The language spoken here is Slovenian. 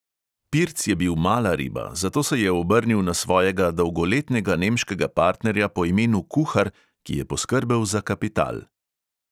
Pirc je bil mala riba, zato se je obrnil na svojega dolgoletnega nemškega partnerja po imenu kuhar, ki je poskrbel za kapital.